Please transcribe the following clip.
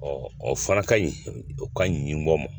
o fana ka ɲi o ka ɲi nin bɔ ma